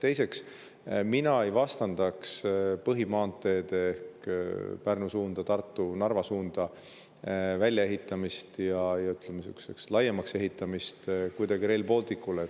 Teiseks, mina ei vastandaks põhimaanteede ehk Pärnu, Tartu ja Narva suuna väljaehitamist, ja ütleme, laiemaks ehitamist kuidagi Rail Balticule.